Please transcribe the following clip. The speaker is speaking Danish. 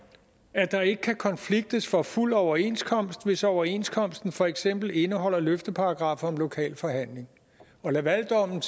at der ikke kan konfliktes for fuld overenskomst hvis overenskomsten for eksempel indeholder løfteparagraffer om lokal forhandling lavaldommen